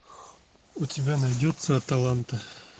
у тебя найдется аталанта